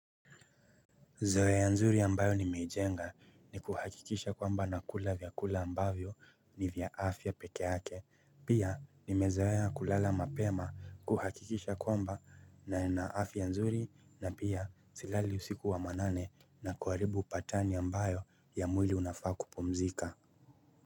Zowea nzuri ambayo ni meijenga ni kuhakikisha kwamba na kula vya kula ambayo ni vya afya pekeake. Pia nimezoea kulala mapema kuhakikisha kwamba naena afya nzuri na pia silali usiku wa manane na kuharibu patani ambayo ya mwili unafaa kupumzika.